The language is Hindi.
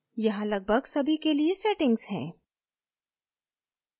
यहाँ लगभग सभी के लिए settings हैं